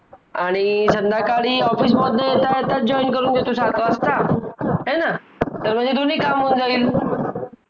आणि संध्याकाळी office मधनं येता येता join सात वाजता हाय ना तर म्हणजे दोन्ही काम होऊन जाईल